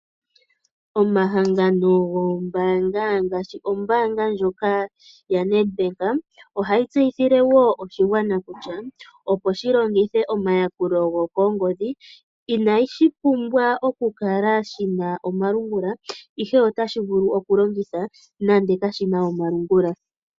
Omahangano gombaanga ngaashi Nedbank ohayi tseyithile wo oshigwana kutya, opo shilongithe omayakulo gokongodhi inashi pumbwa oku kala shina omalungula, ihe otashi vulu okulongitha nande kashina omalungula.